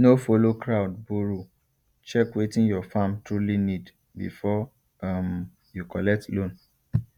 no follow crowd borrow check wetin your farm truly need before um you collect loan